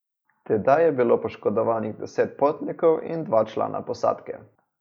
Tedaj je bilo poškodovanih deset potnikov in dva člana posadke.